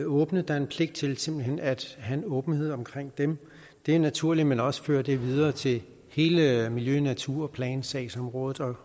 åbne der er en pligt til simpelt hen at have en åbenhed omkring dem det er naturligt at man også fører det videre til hele miljø og naturplansagsområdet